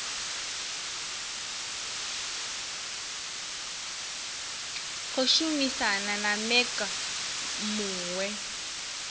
khou shumisana na mec muwe